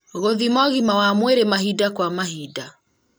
gũthima ũgima wa mwĩrĩ mahinda kwa mahinda